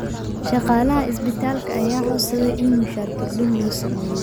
Shaqaalaha isbitaalka ayaa codsaday in mushaar kordhin loo sameeyo.